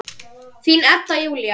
Þín, Edda Júlía.